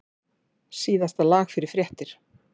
Síðasta lag fyrir fréttir.